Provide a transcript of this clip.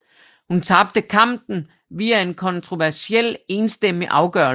Hun tabte kampen via en kontroversiel enstemmig afgørelse